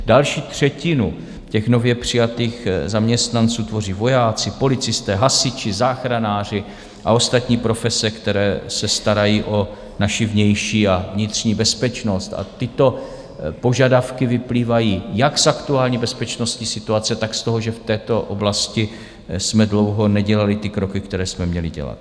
Další třetinu těch nově přijatých zaměstnanců tvoří vojáci, policisté, hasiči, záchranáři a ostatní profese, které se starají o naši vnější a vnitřní bezpečnost, a tyto požadavky vyplývají jak z aktuální bezpečnostní situace, tak z toho, že v této oblasti jsme dlouho nedělali ty kroky, které jsme měli dělat.